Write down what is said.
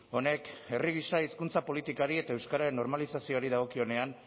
honek herri gisa hizkuntza politikari eta euskararen normalizazioari dagokionean